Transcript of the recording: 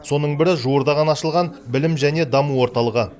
соның бірі жуырда ғана ашылған білім және даму орталығы